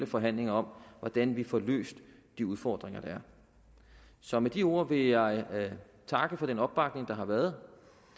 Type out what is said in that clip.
forhandlinger om hvordan vi får løst de udfordringer der er så med de ord vil jeg takke for den opbakning der har været